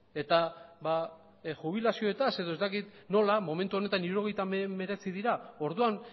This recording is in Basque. eta jubilazioetaz edo ez dakit nola momentu honetan hirurogeita hemeretzi dira orduan